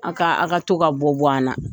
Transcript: A ka a ka to ka bɔ bɔ an na.